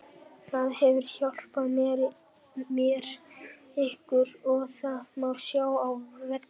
Það hefur hjálpað mér mikið og það má sjá á vellinum.